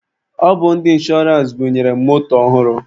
Ọ bụ ndị inshọrance bunyere m moto ọhụrụ.